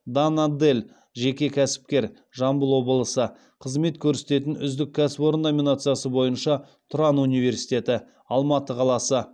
дана дель жеке кәсіпкер қызмет көрсететін үздік кәсіпорын номинациясы бойынша тұран университеті